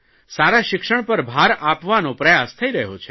સારા શિક્ષણ પર ભાર આપવાનો પ્રયાસ થઇ રહ્યો છે